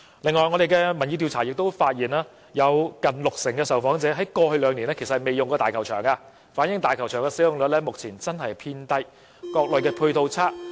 此外，我們的調查亦發現，有近六成受訪者在過去兩年沒有使用過大球場，反映大球場現時使用率偏低、各類配套未如理想。